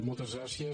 moltes gràcies